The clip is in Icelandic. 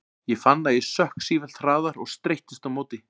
Ég fann að ég sökk sífellt hraðar og streittist á móti.